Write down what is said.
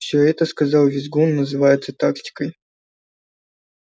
всё это сказал визгун называется тактикой